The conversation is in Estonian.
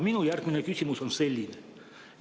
Minu järgmine küsimus on selline.